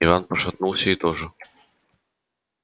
иван иваныч пошатнулся и тоже свалился